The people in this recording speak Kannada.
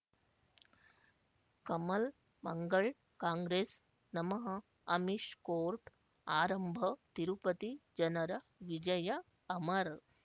ಕಮಲ್ ಮಂಗಳ್ ಕಾಂಗ್ರೆಸ್ ನಮಃ ಅಮಿಷ್ ಕೋರ್ಟ್ ಆರಂಭ ತಿರುಪತಿ ಜನರ ವಿಜಯ ಅಮರ್